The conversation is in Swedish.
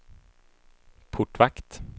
portvakt